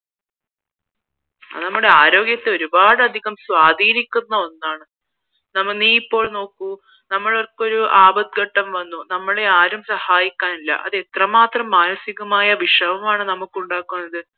അത് നമ്മളെ ആരോഗ്യത്തെ ഒരുപാട് അധികം സ്വാധീനിക്കുന്ന ഒന്നാണ് നമ്മൾ നീ ഇപ്പോൾ നോക്കൂ നമ്മൾക്ക് ഒരു ആപത്ത് ഘട്ടം വന്നു നമ്മളെ ആരും സഹായിക്കാന് ഇല്ല അത് എത്ര മാത്രം മാനസികമായ വിഷമമാണ് നമുക്ക് ഉണ്ടാക്കുന്നത്